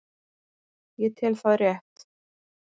Ég tel það rétt.